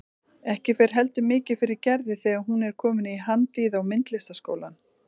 Ekki fer heldur mikið fyrir Gerði þegar hún er komin í Handíða- og myndlistaskólann.